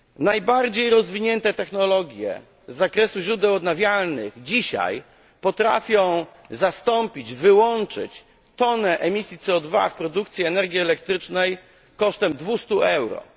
Najbardziej rozwinięte technologie z zakresu źródeł odnawialnych dzisiaj potrafią zastąpić, wyłączyć tonę emisji CO 2 w produkcji energii elektrycznej kosztem 200 euro.